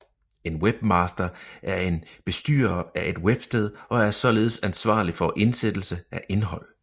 En webmaster er en bestyrer af et websted og er således ansvarlig for indsættelse af indhold